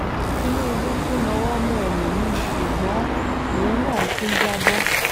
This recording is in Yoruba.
tinúbù tún nawọ́ mú ẹlòmí-ín ṣùgbọ́n ìyẹn náà tún já bọ́